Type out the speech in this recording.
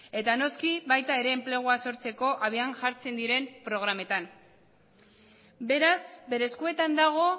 eta noski baita ere enplegua sortzeko habian jartzen diren programetan beraz bere eskuetan dago